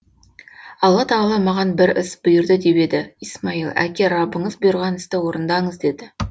алла тағала маған бір іс бұйырды деп еді исмаил әке раббыңыз бұйырған істі орындаңыз деді